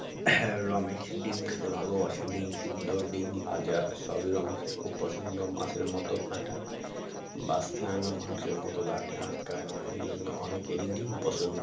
হ্যাঁ রমেশ ডিম খেতে ভালোবাসে ডিম সিদ্ধ ডিম ভাজা সবই রমেশের খুব পছন্দ মাছের মত কাঁটা বাছতে হয় না মাংসের মত দাঁতে আটকায় না এই জন্য অনেকেরই ডিম পছন্দ